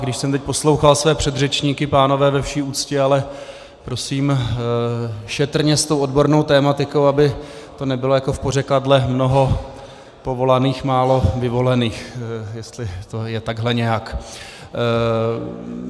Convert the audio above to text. A když jsem teď poslouchal své předřečníky - pánové, ve vší úctě, ale prosím šetrně s tou odbornou tematikou, aby to nebylo jako v pořekadle mnoho povolaných, málo vyvolených, jestli to je takto nějak.